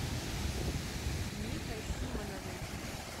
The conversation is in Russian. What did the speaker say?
михой симоновым